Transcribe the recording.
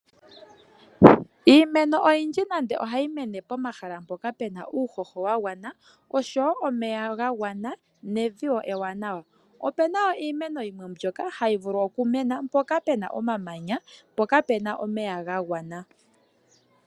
Iimeno oyindji nande ohayi mene pomahala mpoka puna uuhoho wa gwana, oshowo omeya ga gwana, nevi ewanawa, opuna iimeno yimwe mbyoka hayi vulu okumena mpoka puna omamanya, po kapuna omeya gagwana.